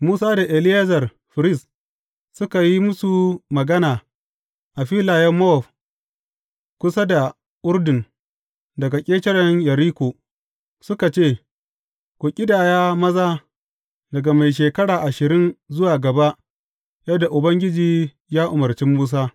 Musa da Eleyazar firist suka yi musu magana a filayen Mowab kusa da Urdun daga ƙetaren Yeriko, suka ce, Ku ƙidaya maza daga mai shekara ashirin zuwa gaba yadda Ubangiji ya umarci Musa.